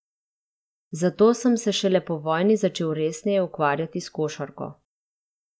Zato sem se šele po vojni začel resneje ukvarjati s košarko.